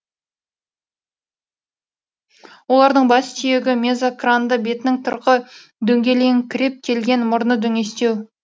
олардың бас сүйегі мезокранды бетінің тұрқы дөңгеленіңкіреп келген мұрны дөңестеу